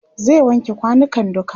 zai wanke kwanukan duka